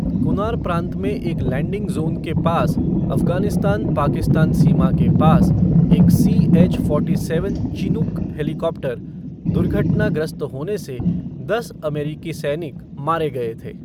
कुनार प्रांत में एक लैंडिंग ज़ोन के पास अफगानिस्तान पाकिस्तान सीमा के पास एक CH. Forty seven Chinook helicopter दुर्घटनाग्रस्त होने से दस अमेरिकी सैनिक मारे गए थे।